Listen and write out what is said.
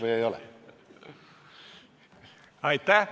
Aitäh!